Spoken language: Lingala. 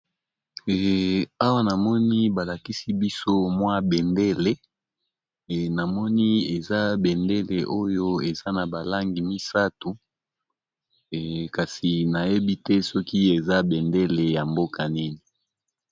Awa namoni balakisi biso mwa bendele namoni eza bendele oyo eza na balangi misato kasi nayebi te soki eza bendele ya mboka nini